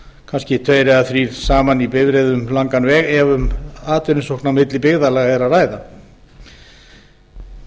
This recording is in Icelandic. kannski tveir eða þrír saman í bifreiðum um langan veg ef um atvinnusókn á milli byggðarlaga er að ræða